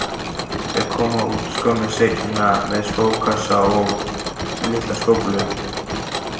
Þau koma út skömmu seinna með skókassa og litla skóflu.